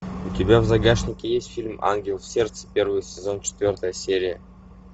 у тебя в загашнике есть фильм ангел в сердце первый сезон четвертая серия